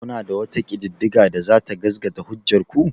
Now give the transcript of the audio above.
Kuna da wata ƙididdiga da za ta gasgata hujjar ku?